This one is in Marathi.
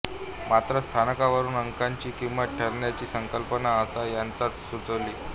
मात्र स्थानावरून अंकाची किंमत ठरण्याची संकल्पना आसा यांनाच सुचली